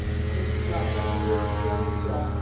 Legislația trebuie să fie ambițioasă.